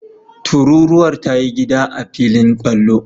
Tururuwar ta yi gida a filin kwallo.